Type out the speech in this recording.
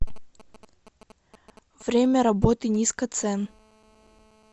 время работы низкоцен